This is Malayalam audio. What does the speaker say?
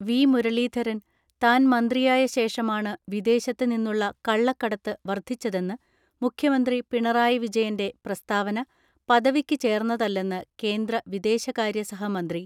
വി മുരളീധരൻ താൻ മന്ത്രിയായ ശേഷമാണ് വിദേശത്ത് നിന്നുള്ള കള്ളക്കടത്ത് വർധിച്ചതെന്ന് മുഖ്യമന്ത്രി പിണറായി വിജയന്റെ പ്രസ്താവന പദവിക്കു ചേർന്നതല്ലെന്ന് കേന്ദ്ര വിദേശകാര്യ സഹമന്ത്രി